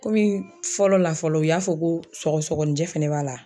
Komi fɔlɔ la fɔlɔ u y'a fɔ ko sɔgɔsɔgɔninjɛ fɛnɛ b'a la